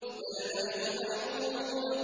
بَلْ نَحْنُ مَحْرُومُونَ